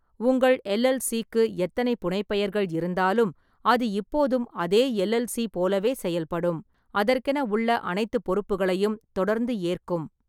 உங்கள் எல்.எல்.சி.க்கு எத்தனை புனைப்பெயர்கள் இருந்தாலும், அது இப்போதும் அதே எல்.எல்.சி. போலவே செயல்படும். அதற்கென உள்ள அனைத்துப் பொறுப்புகளையும் தொடர்ந்து ஏற்கும்.